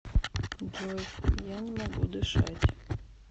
джой я не могу дышать